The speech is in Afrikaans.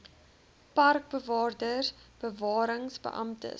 parkbewaarders bewarings beamptes